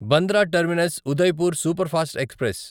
Bandra terminus Udaipur superfast express